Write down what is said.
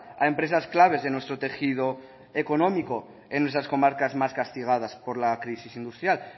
a empresas claves de nuestro tejido económico en nuestras comarcas más castigadas por la crisis industrial